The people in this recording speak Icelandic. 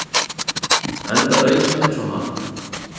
enda reis hann eins og hann